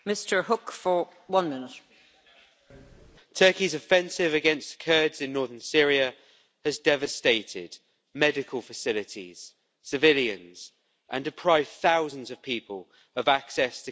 Madam President, Turkey's offensive against Kurds in northern Syria has devastated medical facilities, civilians, and deprived thousands of people of access to clean water.